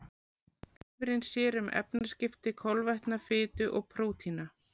Lifrin sér um efnaskipti kolvetna, fitu og prótína.